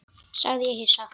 Þeir skoruðu sjö mörk hvor.